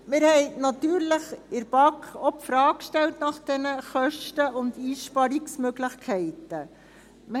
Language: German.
Wir haben in der BaK natürlich auch die Frage nach diesen Kosten und Einsparungsmöglichkeiten gestellt.